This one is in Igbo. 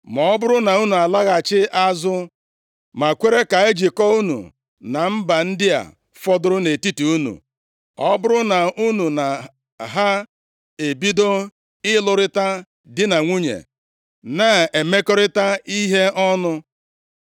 “Ma ọ bụrụ na unu alaghachi azụ, ma kwere ka e jikọọ unu na mba ndị a fọdụrụ nʼetiti unu. Ọ bụrụ na unu na ha ebido ịlụrịta di na nwunye, na-emekọrịta ihe ọnụ,